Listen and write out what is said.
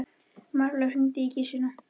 Marlaug, hringdu í Gissunni.